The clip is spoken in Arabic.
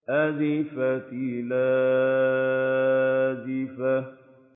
أَزِفَتِ الْآزِفَةُ